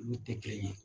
Olu tɛ kelen ye